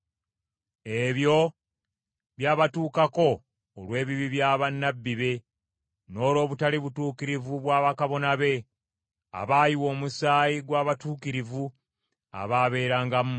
Ebyo byabatuukako olw’ebibi bya bannabbi be, n’olw’obutali butuukirivu bwa bakabona be, abaayiwa omusaayi gw’abatuukirivu abaababeerangamu.